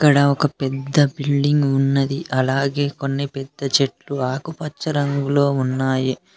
ఇక్కడ ఒక పెద్ద బిల్డింగ్ ఉన్నది అలాగే కొన్ని పెద్ద చెట్టు ఆకుపచ్చ రంగులో ఉన్నాయి.